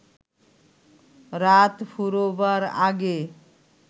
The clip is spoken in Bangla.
রাত ফুরোবার আগে